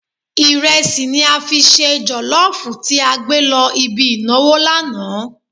Ìrẹsì ni a fi ṣe jọ̀lọ́ọ̀fù tí a gbé lọ ibi ìnáwó lánàá.